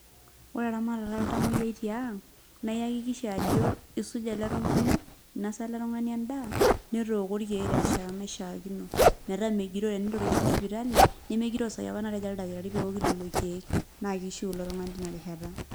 Ore eramatata oltamoyiai tiang', naa eakikisha ajo kisuja ele tung'ani, inasa ele tung'ani endaa, netooko irkeek terishata naishaakino. Metaa megiroo tenitoriko apa sipitali, nemegiroo sai apa natejo oldakitari peoki lelo keek. Na kishiu ilo tung'ani tinarishata.